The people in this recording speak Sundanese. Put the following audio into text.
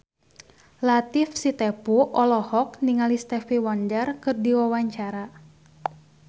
Latief Sitepu olohok ningali Stevie Wonder keur diwawancara